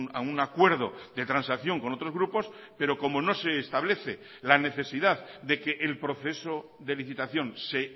a un acuerdo de transacción con otros grupos pero como no se establece la necesidad de que el proceso de licitación se